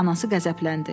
Anası qəzəbləndi.